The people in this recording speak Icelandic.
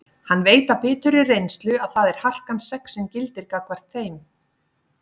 Hann veit af biturri reynslu að það er harkan sex sem gildir gagnvart þeim.